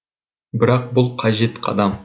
бірақ бұл қажет қадам